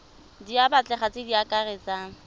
di batlegang tse di akaretsang